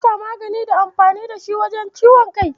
Boska magani ne da amfani da shi wajen magance ciwon kai.